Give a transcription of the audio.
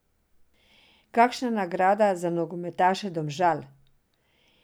Kakšna nagrada za nogometaše Domžal!